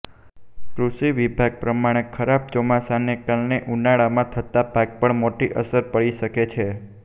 કૃષિ વિભાગ પ્રમાણે ખરાબ ચોમાસાને કારણે ઉનાળામાં થતા પાક પર પણ મોટી અસર પડી છે